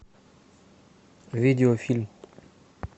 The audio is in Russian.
видеофильм